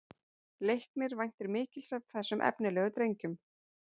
Leiknir væntir mikils af þessum efnilegu drengjum